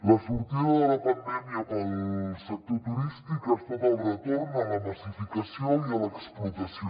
la sortida de la pandèmia per al sector turístic ha estat el retorn a la massificació i a l’explotació